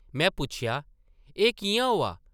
में पुच्छेआ, ‘‘एह् किʼयां होआ?’’